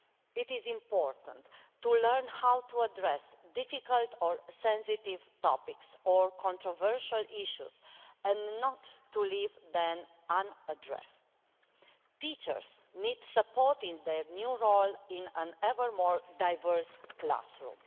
It is important to learn how to address difficult or sensitive topics or controversial issues and not to leave them unaddressed. Teachers need support in their new role in an ever more diverse classroom.